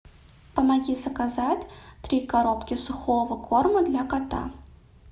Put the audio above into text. помоги заказать три коробки сухого корма для кота